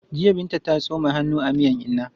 Jiya Binta ta tsoma hannu a miyan inna.